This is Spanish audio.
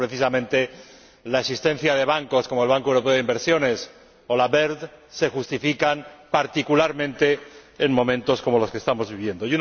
Creo que, precisamente, la existencia de bancos como el Banco Europeo de Inversiones o el BERD se justifica particularmente en momentos como los que estamos viviendo.